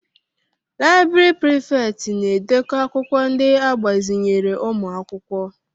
Laịbrị Prịfèkt na-edekọ akwụkwọ ndị agbazinyere ụmụ akwụkwọ.